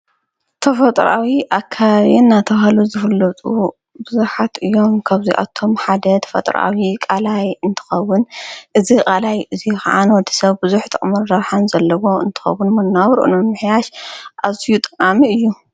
ተፈጥራዊ ኣካባብንን ኣለው። ዝፈለጡ ብዙሓት እዮም። ከብዙይ ኣቶም ሓደ ተፈጥራኣዊ ቃላይ እንተኸውን እዝ ቓላይ እዙይ ኸዓን ወዲ ሰብ ብዙሕ ጥቕሚ ዘለዎ እንትኸውን መናብርኡነ ምሕያሽ ኣዙይ ጠቃሚ እዩ።